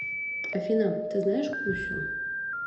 афина ты знаешь кусю